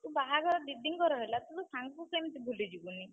ବାହାଘର दीदी ଙ୍କର ହେଲା ତୁ ତ ସାଙ୍ଗକୁ କେମିତି ଭୁଲିଯିବୁନି?